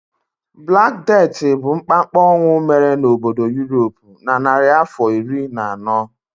Black Death bụ mkpamkpa ọnwụ mere n'obodo Europe na narịafọ iri na anọ.